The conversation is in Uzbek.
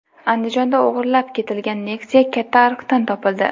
Andijonda o‘g‘irlab ketilgan Nexia katta ariqdan topildi .